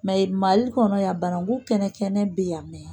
Mɛ Mali kɔnɔ yan, banakun kɛnɛ kɛnɛ bɛ yan